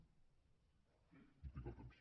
no tinc el temps